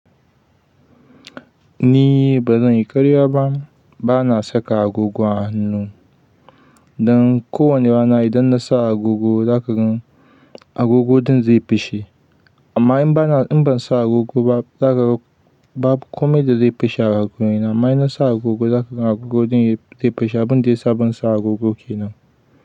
Ni ba zan yi karya ba, ba na saka agogo a hannu. Dan kowani rana idan na sa agogo, za ka gan agogo ɗin zai fashe. Amma in ba na, in ban sa agogo ba, za ka ga babu komai da zai fashe a hannuna. Amma in na sa agogo, za ka gan agogo ɗin zai fashe abin da ya sa ban sa agogo kenan.